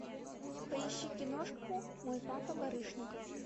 поищи киношку мой папа барышников